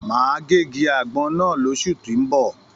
Máa gé igi àgbọn náà l'osu tó n bọ.